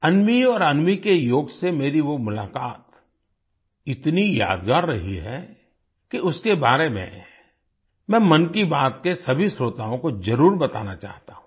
अन्वी और अन्वी के योग से मेरी वो मुलाकात इतनी यादगार रही है कि उसके बारे में मैं मन की बात के सभी श्रोताओं को जरुर बताना चाहता हूँ